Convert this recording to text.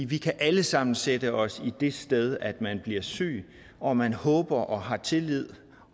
vi kan alle sammen sætte os i det sted at man bliver syg og man håber og har tillid